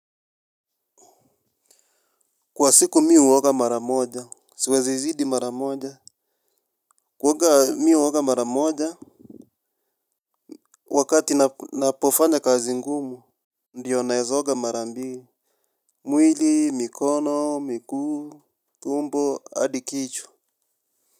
Kwa siku mi huoga maramoja. Siwezi zidi maramoja. Kuoga mi huoga maramoja wakati napofanya kazi ngumu ndiyo naeza oga mara mbili. Mwili mikono miguu tumbo hadi kichwa.